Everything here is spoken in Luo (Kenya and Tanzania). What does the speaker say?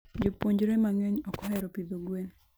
jopuonjre mangeny okohero pidho gwen